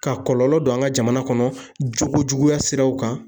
Ka kɔlɔlɔ don an ka jamana kɔnɔ jogo juguya siraw kan